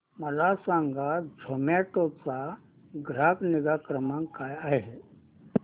मला सांगा झोमॅटो चा ग्राहक निगा क्रमांक काय आहे